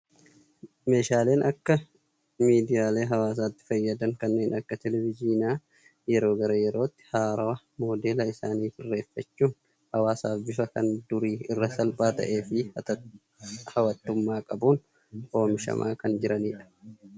Meeshaaleen akka miidiyaalee hawaasummaatti fayyadan kanneen akka televizyiinaa yeroo gara yerootti haarawaa, modeela isaanii sirreeffachuun hawaasaaf bifa kan durii irra salphaa fi hawwatummaa qabuun oomishamaa kan jiranidha. Baayyee namatti tolu.